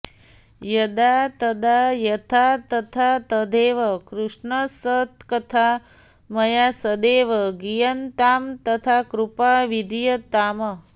यदा तदा यथा तथा तथैव कृष्णसत्कथा मया सदैव गीयतां तथा कृपा विधीयताम्